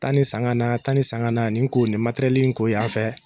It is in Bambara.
Taa nin san ka na taa nin san ga na nin ko nin materɛli nin ko yan fɛ